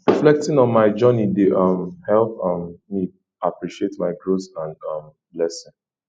reflecting on my journey dey um help um me appreciate my growth and um lessons